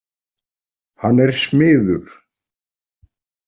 Hann er smiður.